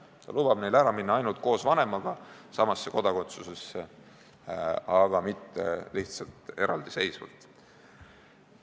Ta lubab neil ära minna ainult koos vanemaga samasse kodakondsusesse, aga mitte lihtsalt eraldiseisvalt.